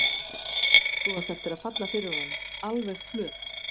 Þú átt eftir að falla fyrir honum. alveg flöt!